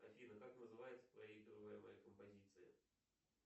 афина как называется проигрываемая композиция